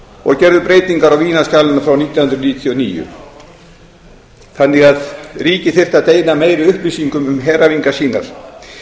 og gerðu breytingar á vínarskjalinu frá nítján hundruð níutíu og níu þannig að ríki þyrftu að deila meiri upplýsingum um heræfingar sínar